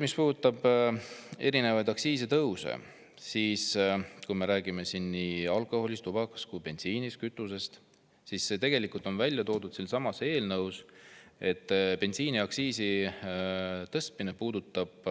Mis puudutab erinevaid aktsiisitõuse, kui me räägime nii alkoholist, tubakast kui ka bensiinist, kütusest, siis siinsamas eelnõus on välja toodud, et bensiiniaktsiisi tõstmine puudutab